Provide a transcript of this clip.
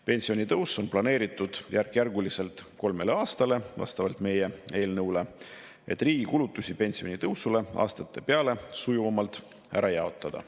Pensionitõus on vastavalt meie eelnõule planeeritud järkjärguliselt kolmele aastale, et riigi kulutusi pensionitõusule aastate peale sujuvamalt ära jaotada.